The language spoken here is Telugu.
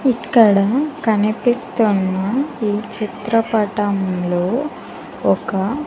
ఇక్కడ కనిపిస్తున్న ఈ చిత్రపటం లో ఒక --